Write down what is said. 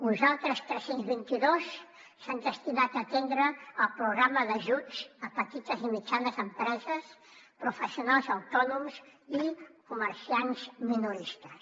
uns altres tres cents i vint dos s’han destinat a atendre el programa d’ajuts a petites i mitjanes empreses professionals autònoms i comerciants minoristes